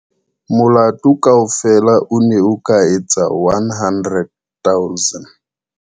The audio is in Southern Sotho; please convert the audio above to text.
Molato kaofela o ne o ka etsa 100 000.